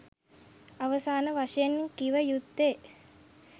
අවසාන වශයෙන් කිව යුත්තේ